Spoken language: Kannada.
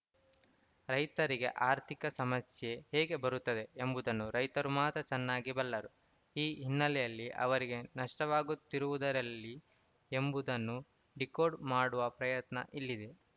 ರೈತರಿಗೆ ಆರ್ಥಿಕ ಸಮಸ್ಯೆ ಹೇಗೆ ಬರುತ್ತದೆ ಎಂಬುದನ್ನು ರೈತರು ಮಾತ್ರ ಚೆನ್ನಾಗಿ ಬಲ್ಲರು ಈ ಹಿನ್ನಲೆಯಲ್ಲಿ ಅವರಿಗೆ ನಷ್ಟವಾಗುತ್ತಿರುವುದಲ್ಲಿ ಎಂಬುದನ್ನು ಡೀಕೋಡ್‌ ಮಾಡುವ ಪ್ರಯತ್ನ ಇಲ್ಲಿದೆ